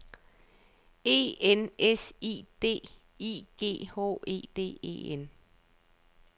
E N S I D I G H E D E N